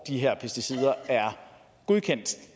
de her pesticider er godkendt